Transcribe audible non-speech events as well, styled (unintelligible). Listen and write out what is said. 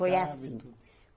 Foi assim. (unintelligible)